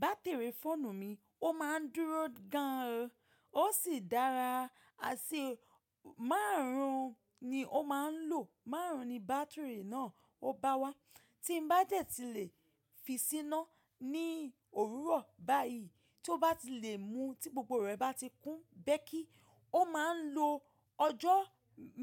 Batiri fóònù mi ó máa ń dúró gan an o, ó sì dára. Àṣẹ márùn-ún ni ó máa ń lò, márùn-ún ni bátìrì náà ó bá wá. Tí n bá dẹ́ ti lè fi síná ní òwúrọ̀ báyìí, tí ó bá ti lè mu tí gbogbo rẹ̀ bá ti kún. Bẹ́ kí, ó máa ń lo ọjọ́